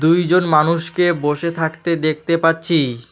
দুইজন মানুষকে বসে থাকতে দেখতে পাচ্ছি।